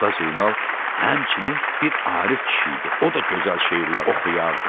Usta Zeynal həmçinin bir Arif kişi idi, o da gözəl şeirlər oxuyardı.